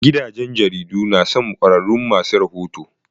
Gidajen jaridu na son ƙwarraun ma su rahoto.